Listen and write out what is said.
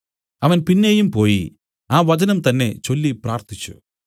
അവൻ പിന്നെയും പോയി ആ വചനം തന്നേ ചൊല്ലി പ്രാർത്ഥിച്ചു